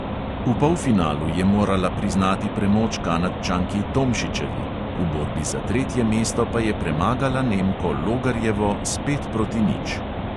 V polfinalu je morala priznati premoč kanadčanki tomšičevi, v borbi za tretje mesto pa je premagala nemko logarjevo s pet proti nič.